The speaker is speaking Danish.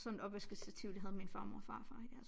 Sådan et opvaskestativ det havde min farmor og farfar i deres